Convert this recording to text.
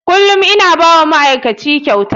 Kullum ina ba wa ma'aikaci kyauta.